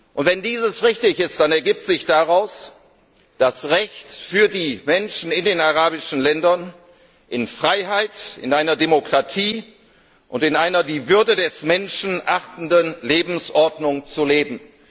Und wenn dies richtig ist, dann ergibt sich daraus das Recht für die Menschen in den arabischen Ländern, in Freiheit, in einer Demokratie und in einer die Würde des Menschen achtenden Lebensordnung zu leben.